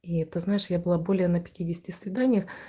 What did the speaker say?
и ты знаешь я была более на пятидесяти свиданиях